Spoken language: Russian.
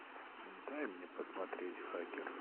дай мне посмотреть хакер